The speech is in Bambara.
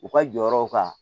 U ka jɔyɔrɔw kan